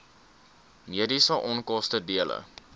mediese onkoste dele